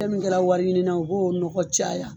Fɛn min kɛra wari ɲini na u b'o nɔgɔ caya.